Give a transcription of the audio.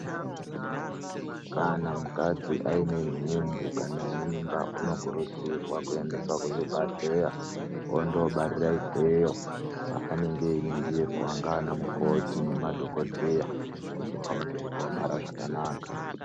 Kana mukadzi aine nhumbu kana mimba unokurudzirwa kuendeswa zvibhahleya ondobarira ikweyo kwanenge einingirwa nganamukoti nemadhoko dheya kuti vaone kuti wabarazvakanaka